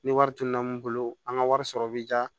Ni wari tununa mun bolo an ka wari sɔrɔ bɛ diya